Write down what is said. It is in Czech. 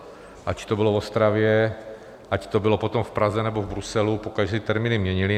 Ať to bylo v Ostravě, ať to bylo potom v Praze nebo v Bruselu, pokaždé ty termíny měnili.